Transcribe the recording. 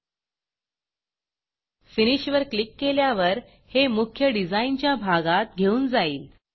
finish वर click केल्यावर हे मुख्य डिझाईनच्या भागात घेऊन जाईल